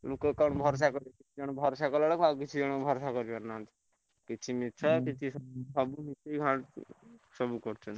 କିଛି ଜଣ ଭରସା କରିଲା ବେକାଳୀ ଆଉ କିଛି ଭରସା କରୁନାହାନ୍ତି କିଛି ସତ କିଛି ମିଛ ସବୁ ମିଶିକ୍ୟ ବାହାର କରୁଛନ୍ତି।